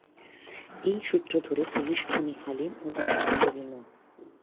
এই সূত্র ধরে পুলিশ খুনি হালিম ও তার সহযোগী মো